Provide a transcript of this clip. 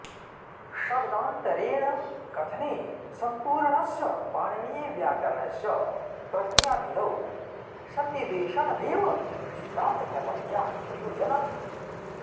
शब्दान्तरेण कथने सम्पूर्णस्य पाणिनीयव्याकरणस्य प्रक्रियाविधौ संन्निवेशनमेव सिद्धान्तकौमुद्याः प्रयोजनम्